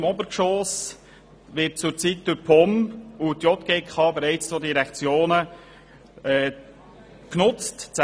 Das Untergeschoss wird bereits durch die zwei Direktionen POM und JGK genutzt.